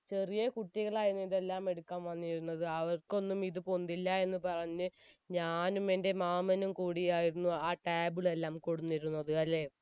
ചെറിയ കുട്ടികളായിരുന്നു ഇതെല്ലാം എടുക്കാൻ വന്നിരുന്നത് അവർക്കൊന്നും ഇത് പൊന്തില്ല എന്ന് പറഞ്ഞു ഞാനും എൻ്റെ മാമനും കൂടിയായിരുന്നു ആ table എല്ലാം കൊടിന്നിരുന്നത് അല്ലെ